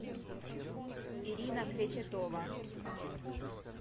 ирина кречетова